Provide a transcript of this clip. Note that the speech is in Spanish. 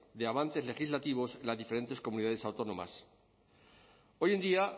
de avances legislativos en las diferentes comunidades autónomas hoy en día